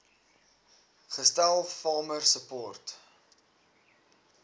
gestel farmer support